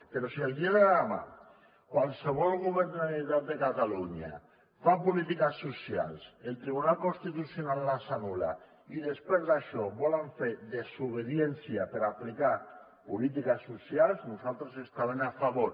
però si el dia de demà qualsevol govern de la generalitat de catalunya fa polítiques socials el tribunal constitucional les anul·la i després d’això volen fer desobediència per aplicar polítiques socials nosaltres hi estarem a favor